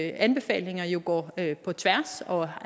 anbefalinger jo går på tværs og